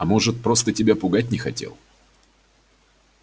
а может просто тебя пугать не хотел